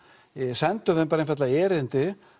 sendu þeim bara einfaldlega erindi